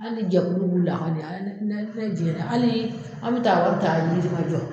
Hali jɛkulu b'u la hali an bɛ taa an bi taa Yirimajɔ.